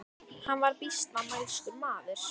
Hann var býsna mælskur maður.